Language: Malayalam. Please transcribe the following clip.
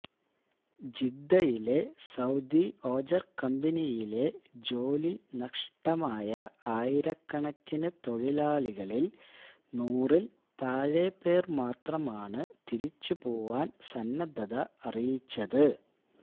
ജിദ്ദയിലെ സഊദി ഓജര് കമ്പനിയിലെ ജോലി നഷ്ടമായ ആയിരക്കണക്കിനു തൊഴിലാളികളില് നൂറില് താഴെ പേര് മാത്രമാണ് തിരിച്ചുപോവാന് സന്നദ്ധത അറിയിച്ചത്